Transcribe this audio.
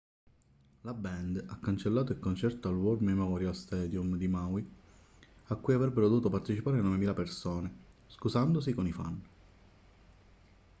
la band ha cancellato il concerto al war memorial stadium di maui a cui avrebbero dovuto partecipare 9.000 persone scusandosi con i fan